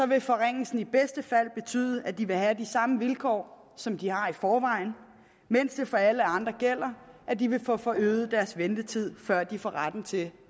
vil forringelsen i bedste fald betyde at de vil have de samme vilkår som de har i forvejen mens det for alle andre gælder at de vil få få øget deres ventetid før de får retten til